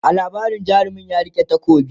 a labarin jarumin ya rike takobi